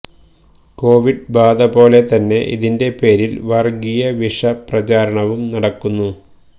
Covid ബാധ പോലെ തന്നെ ഇതിന്റെ പേരില് വര്ഗീയവിഷ പ്രചാരണവും നടക്കുന്നു